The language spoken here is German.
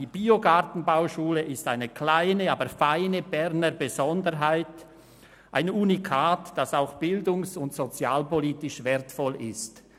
Die Biogartenbauschule ist eine kleine, aber feine Berner Besonderheit, ein Unikat, das auch bildungs- und sozialpolitisch wertvoll ist.